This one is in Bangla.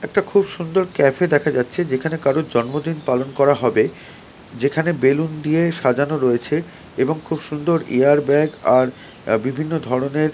একটা খুব সুন্দর ক্যাফে দেখা যাচ্ছে যেখানে কারো জন্মদিন পালন করা হবে যেখানে বেলুন দিয়ে সাজানো রয়েছে এবং খুব সুন্দর এয়ার ব্যাগ আর বিভিন্ন ধরনের--